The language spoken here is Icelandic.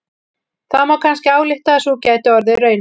Það má kannski álykta að sú gæti orðið raunin.